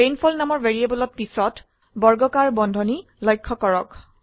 rainfall নামৰ ভ্যাৰিয়েবলত পিছত বৰ্গকাৰ বন্ধনী লক্ষয় কৰক